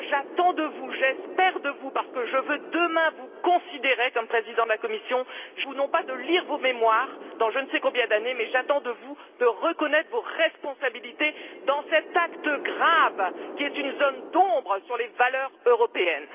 Moi, j'attends de vous j'espère de vous, parce que je veux, demain, vous considérer comme président de la Commission non pas vos mémoires, dans je ne sais combien d'années, mais j'attends de vous que vous reconnaissiez vos responsabilités dans cet acte grave, qui est une zone d'ombre sur les valeurs européennes.